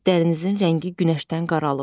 Dərinizin rəngi günəşdən qaralıb.